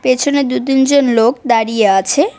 পেছনে দু-তিনজন লোক দাঁড়িয়ে আছে।